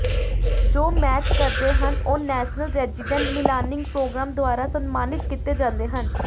ਜੋ ਮੈਚ ਕਰਦੇ ਹਨ ਉਹ ਨੈਸ਼ਨਲ ਰੈਜ਼ੀਡੈਂਟ ਮਿਲਾਨਿੰਗ ਪ੍ਰੋਗਰਾਮ ਦੁਆਰਾ ਸਨਮਾਨਿਤ ਕੀਤੇ ਜਾਂਦੇ ਹਨ